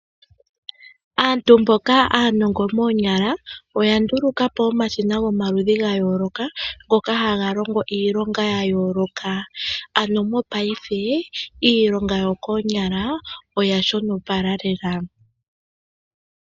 Aantu mboka aanongo moonyala oya nduluka po omashina gomaludhi ga yooloka, ngoka haga longo iilonga ya yooloka. Ano mo payife iilonga yo koonyala oya shonopala lela.